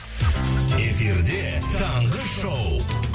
эфирде таңғы шоу